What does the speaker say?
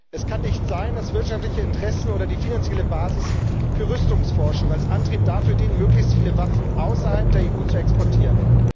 Es kann nicht sein, dass wirtschaftliche Interessen oder die finanzielle Basis für Rüstungsforschung als Antrieb dazu dienen, möglichst viele Waffen in Staaten außerhalb der EU zu exportieren.